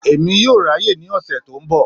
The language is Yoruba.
Èmi yoo ráàyè ní ọ̀sẹ̀ tó ńbọ̀.